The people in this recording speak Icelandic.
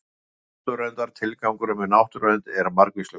Tilgangur náttúruverndar Tilgangurinn með náttúruvernd er margvíslegur.